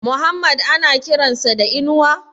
Muhammad ana kiran sa da Inuwa?